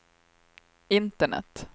internet